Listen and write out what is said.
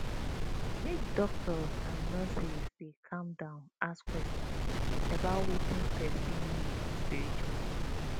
make doctors and nurses dey calm down ask question about wetin person need spritually